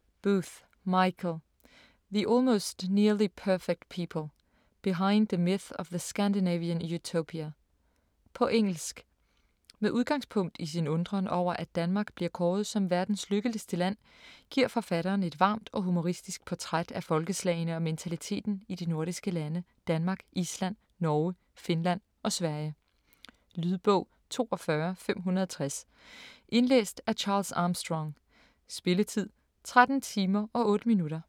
Booth, Michael: The almost nearly perfect people: behind the myth of the Scandinavian utopia På engelsk. Med udgangspunkt i sin undren over at Danmark bliver kåret som verdens lykkeligste land, giver forfatteren et varmt og humoristisk portræt af folkeslagene og mentaliteten i de nordiske lande Danmark, Island, Norge, Finland og Sverige. Lydbog 42560 Indlæst af Charles Armstrong Spilletid: 13 timer, 8 minutter.